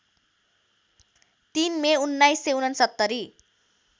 ३ May १९६९